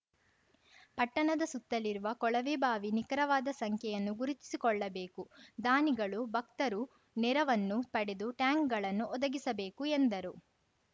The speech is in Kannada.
ಪಟ್ಟಣದ ಸುತ್ತಲಿರುವ ಕೊಳವೆಬಾವಿ ನಿಖರವಾದ ಸಂಖ್ಯೆಯನ್ನು ಗುರುತಿಸಿಕೊಳ್ಳಬೇಕು ದಾನಿಗಳು ಭಕ್ತರು ನೆರವನ್ನು ಪಡೆದು ಟ್ಯಾಂಕ್ ಗಳನ್ನು ಒದಗಿಸಬೇಕು ಎಂದರು